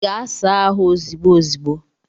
Gaa saa ahụ ozigbo ozigbo